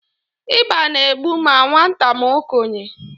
ịba na-egbu ma nwata ma okenye